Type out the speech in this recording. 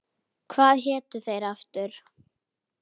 Hvað hétu þeir aftur?